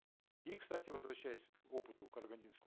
и кстати возвращаясь к опыту карагандинской